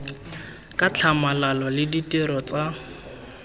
ka tlhamalalo le ditiro tsa